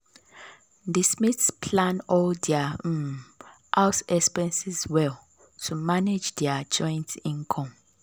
the smiths plan all their um house expenses well to manage their joint income.